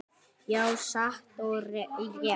Já, satt og rétt.